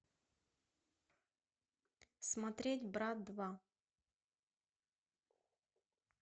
смотреть брат два